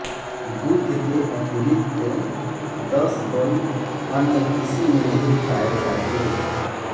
बुद्ध के अतिरिक्त दस बल अन्य किसी में नहीं पाये जाते